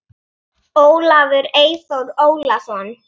Ólafur Eyþór Ólason.